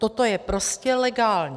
Toto je prostě legální!